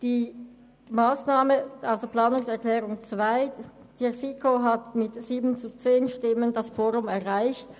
Die Planungserklärung 2 hingegen hat in der FiKo mit 7 zu 10 Stimmen das Quorum erreicht.